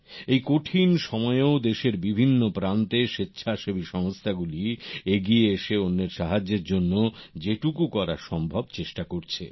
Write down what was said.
এই কঠিন সময়েও দেশের বিভিন্ন প্রান্তে স্বেচ্ছা সেবী সংস্থা গুলি এগিয়ে এসে অন্যের সাহায্যের জন্য যেটুকু করা সম্ভব করার চেষ্টা করছে